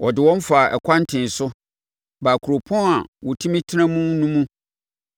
Ɔde wɔn faa ɛkwan tee so baa kuropɔn a wɔtumi tena mu no mu.